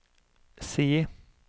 C